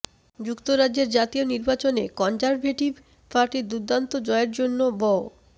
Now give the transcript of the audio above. যুক্তরাজ্যের জাতীয় নির্বাচনে কনজারভেটিভ পার্টির দুর্দান্ত জয়ের জন্য ব